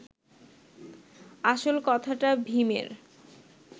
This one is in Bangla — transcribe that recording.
আসল কথাটা ভীমের